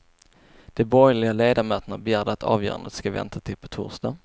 De borgerliga ledamöterna begärde att avgörandet ska vänta till på torsdag.